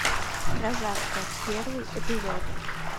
прожарка первый эпизод